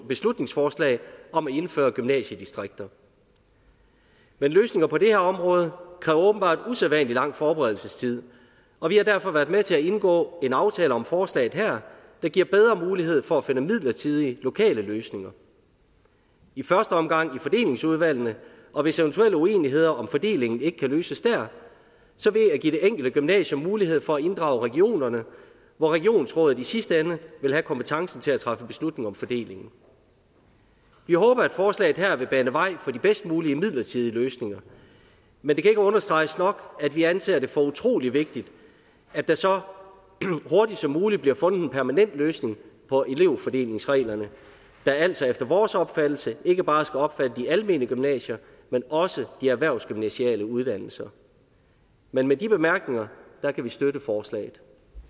beslutningsforslag om at indføre gymnasiedistrikter men løsninger på det her område kræver åbenbart usædvanlig lang forberedelsestid og vi har derfor været med til at indgå en aftale om forslaget her der giver bedre mulighed for at finde midlertidige lokale løsninger i første omgang i fordelingsudvalgene og hvis eventuelle uenigheder om fordeling ikke kan løses der så ved at give det enkelte gymnasium mulighed for at inddrage regionerne hvor regionsrådet i sidste ende vil have kompetencen til at træffe beslutning om fordelingen vi håber at forslaget her vil bane vej for de bedst mulige midlertidige løsninger men det kan ikke understreges nok at vi anser det for utrolig vigtigt at der så hurtigt som muligt bliver fundet en permanent løsning på elevfordelingsreglerne der altså efter vores opfattelse ikke bare skal omfatte de almene gymnasier men også de erhvervsgymnasiale uddannelser men med de bemærkninger kan vi støtte forslaget